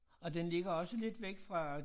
Og den ligger også lidt væk fra